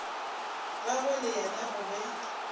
gagwe le yena o be